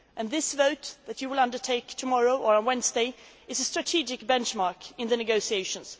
The vote that you will take tomorrow or on Wednesday is a strategic benchmark in the negotiations.